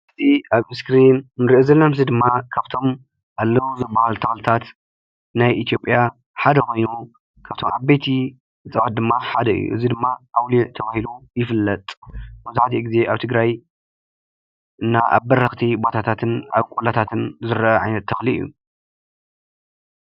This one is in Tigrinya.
እዚ ኣብ እስክሪን ንሪኦ ዘለና ምስሊ ድማ ካብቶም ኣለዉ ዝበሃሉ ተኽልታት ናይ ኢትዮጵያ ሓደ ኮይኑ ካብቶም ዓበይቲ እፅዋት ድማ ሓደ እዩ፡፡ እዚ ድማ ኣውሊዕ ተባሂሉ ይፍለጥ፡፡ መብዛሕቲኡ ግዜ ኣብ ትግራይ እና ኣብ በረኽቲ ቦታታትን ቆላታትን ዝርአ ዓይነት ተኽሊ እዩ፡፡